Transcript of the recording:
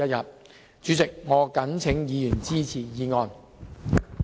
代理主席，我謹請議員支持議案。